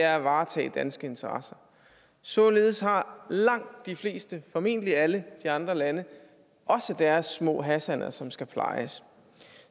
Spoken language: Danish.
er at varetage danske interesser således har langt de fleste formentlig alle de andre lande også deres små hassaner som skal plejes